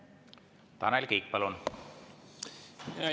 Tanel Kiik, palun!